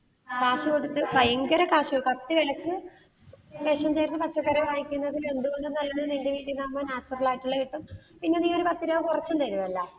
ഭയങ്കര കാശാ കത്തി വിലക്ക്, പച്ചക്കറി വാങ്ങിക്കുന്നത് എന്തുകൊണ്ടും നല്ലത്, നിന്റെ വീട്ടീന്ന് ആവുമ്പോൾ natural ആയിട്ടുള്ള കിട്ടും. പിന്നെ നീ ഒരു പത്തു രൂപ കുറച്ചുതരുവല്ല.